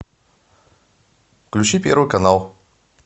включи первый канал